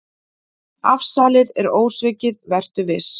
Afsalið er ósvikið, vertu viss.